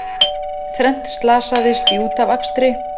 Þrennt slasaðist í útafakstri